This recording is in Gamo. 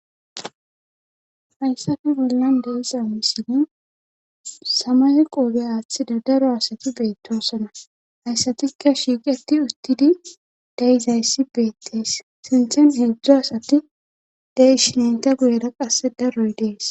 hayssafe bollan beexa misini samaye qoobe aaththida daro asati beettosona hayssatikka shiiqeti uttidi dayizayssi beettees sinthen heedzdzu asati dayi shinayta guyera qasse daroy dees